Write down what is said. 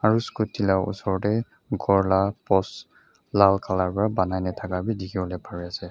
aro scooty la osor dae gor laka post laal colour para panai na taka bi dikipolae pari asae.